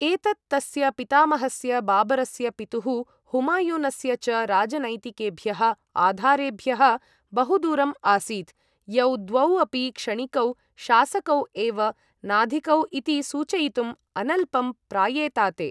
एतत् तस्य पितामहस्य बाबरस्य, पितुः हुमायुनस्य च राजनैतिकेभ्यः आधारेभ्यः बहुदूरम् आसीत्, यौ द्वौ अपि क्षणिकौ शासकौ एव नाधिकौ इति सूचयितुम् अनल्पं प्रायेताते।